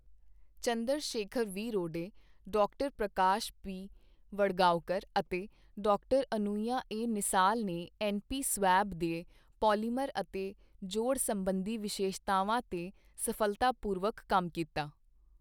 Chandra Shekhar V Rode, doctor Prakash P ਵੜਗਾਉਕਰ ਅਤੇ doctor Anuya A Nisal ਨੇ ਐੱਨਪੀ ਸਵੈਬ ਦੇ ਪੋਲੀਮਰ ਅਤੇ ਜੋੜ ਸਬੰਧੀ ਵਿਸ਼ੇਸ਼ਤਾਵਾਂ ਤੇ ਸਫ਼ਲਤਾਪੂਰਵਕ ਕੰਮ ਕੀਤਾ।